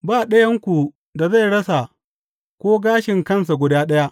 Ba ɗayanku da zai rasa ko gashin kansa guda ɗaya.